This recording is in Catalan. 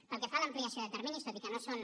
pel que fa a l’ampliació de terminis tot i que no són